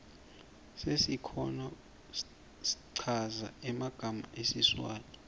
sesikhona schaza magama sesiswati